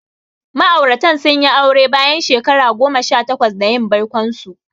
Ma'auratan sun yi aure bayan shekara goma sha takwas da yin baikonsu.